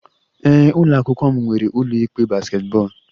Ee, ụlọ akwụkwọ m nwere ụlọ ikpe basketball